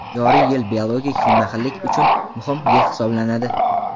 joriy yil biologik xilma-xillik uchun muhim yil hisoblanadi.